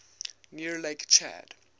near lake chad